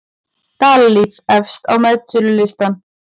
Dalalíf efst á metsölulistann